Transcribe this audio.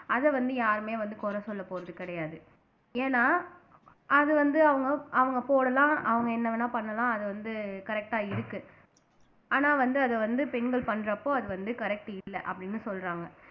அதை வந்து யாருமே வந்து குறை சொல்ல போறது கிடையாது ஏன்னா அது வந்து அவங்க அவங்க போடலாம் அவங்க என்ன வேணா பண்ணலாம் அது வந்து correct ஆ இருக்கு ஆனா வந்து அதை வந்து பெண்கள் பண்றப்போ அது வந்து correct இல்லை அப்படின்னு சொல்றாங்க